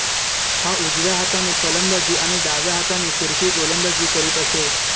हा उजव्या हाताने फलंदाजी आणि डाव्या हाताने फिरकी गोलंदाजी करीत असे